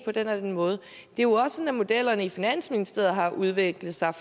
på den og den måde det er jo også sådan modellerne i finansministeriet har udviklet sig